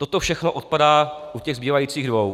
Toto všechno odpadá u těch zbývajících dvou.